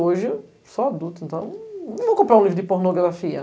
Hoje, sou adulto, então não vou comprar um livro de pornografia.